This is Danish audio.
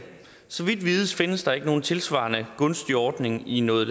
så vidt vides findes der ikke nogen tilsvarende gunstig ordning i noget